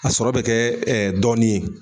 A sɔrɔ bɛ kɛ dɔɔni ye.